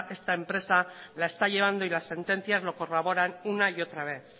esta empresa la está llevando y las sentencias lo corroboran una y otra vez